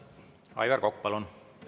Aivar Kokk, palun!